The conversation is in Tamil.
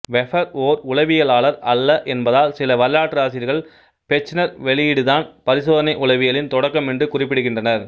வெபர் ஓர் உளவியலாளர் அல்ல என்பதால் சில வரலாற்றாசிரியர்கள் பெச்னர் வெளியீடுதான் பரிசோதனை உளவியலின் தொடக்கம் என்று குறிப்பிடுகின்றனர்